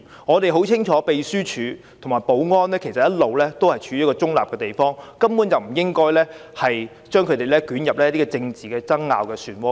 我們很清楚秘書處及保安人員其實一向行事中立，根本不應把他們捲入政治爭拗的漩渦中。